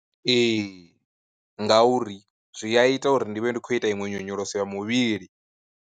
Ee, ngauri zwi a ita uri ndi vhe ndi khou ita iṅwe nyonyoloso ya muvhili.